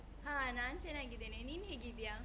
ಹಾ, ನಾನ್ ಚೆನ್ನಾಗಿದ್ದೇನೆ. ನೀನ್ ಹೇಗಿದ್ದಿಯಾ?